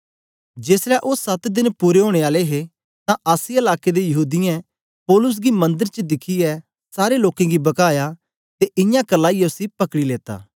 जेसलै ओ सत देन पूरे ओनें आले हे तां आसिया लाके दे यहूदीयें पौलुस गी मंदर च दिखियै सारे लोकें गी बकाया ते इयां करलाईयै उसी पकड़ी लेता